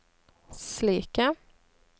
slike